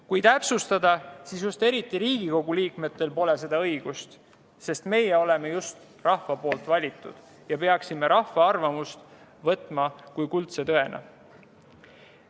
Kui täpsustada, siis just eriti Riigikogu liikmetel pole seda õigust, sest meie oleme rahva valitud ja peaksime rahva arvamust võtma kuldse tõena.